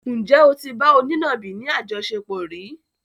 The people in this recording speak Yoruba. Ǹjẹ́ o tí bá onínàbì ni àjọṣepọ̀ rí?